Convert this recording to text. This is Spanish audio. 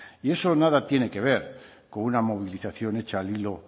y eso nada tiene que ver con una movilización hecha al hilo